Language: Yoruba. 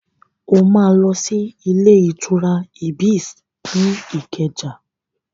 O máa lọ sí ilé-ìtura Ibis ní Ìkẹjà.